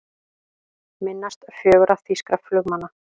Minnast fjögurra þýskra flugmanna